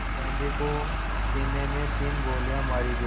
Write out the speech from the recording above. गांधी को सीने में तीन गोलियां मारी गईं